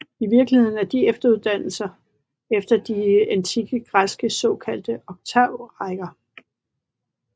I virkeligheden er de efterdannelser efter de antikke græske såkaldte oktavrækker